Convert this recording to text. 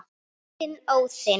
Þinn, Óðinn.